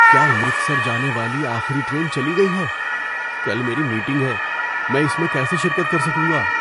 کیا امرتسر جانے والی آخری ٹرین چلی گئی ہے؟ کل میری میٹنگ ہے، میں اس میں کیسے شرکت کر سکوں گا؟